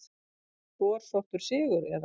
Torsóttur sigur eða hvað?